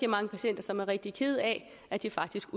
mange patienter som er rigtig kede af at de faktisk